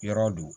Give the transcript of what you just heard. Yɔrɔ don